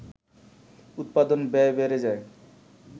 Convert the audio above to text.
উৎপাদন ব্যয় বেড়ে যায়